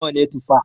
Nawa ne Tufa?